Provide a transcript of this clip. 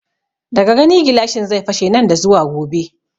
Daga gani gilashin zai fashe nan da zuwa gobe